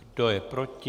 Kdo je proti?